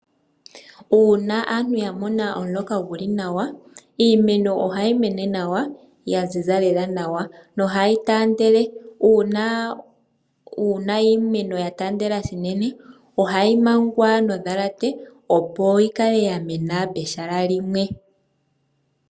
Uuna aantu ya mona omuloka gu li nawa, iimeno ohayi mene nawa, ya ziza lela nawa, nohayi taandele. Uuna iimeno ya taandela unene, ohayi mangwa nondhalate opo yi kale ya mena pehala limwe.